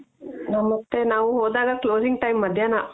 ಮತ್ತೆ ನಾವ್ ಹೋದಾಗ closing time ಮಧ್ಯಾನ